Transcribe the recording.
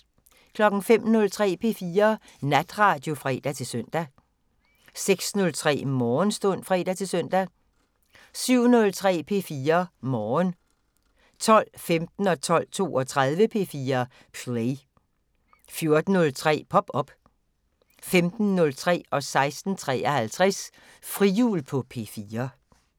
05:03: P4 Natradio (fre-søn) 06:03: Morgenstund (fre-søn) 07:03: P4 Morgen 12:15: P4 Play 12:32: P4 Play 14:03: Pop op 15:03: Frihjul på P4 16:53: Frihjul på P4